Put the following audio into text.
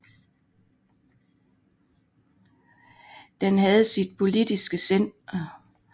Den havde sit politiske centrum i Knossos på Kreta